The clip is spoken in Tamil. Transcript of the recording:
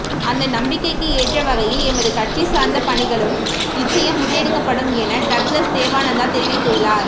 அந்த நம்பிக்கைக்கு ஏற்றவகையில் எமது கட்சி சார்ந்த பணிகளும் நிச்சயம் முன்னெடுக்கப்படும் என டக்ளஸ் தேவானந்தா தெரிவித்துள்ளார்